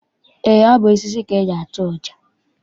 Eé, ọ bụ osisi ka eji atụ ọja.